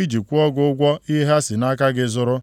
iji kwụọ gị ụgwọ ihe ha si nʼaka gị zụrụ.